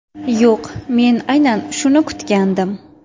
Yo‘q, men aynan shuni kutgandim.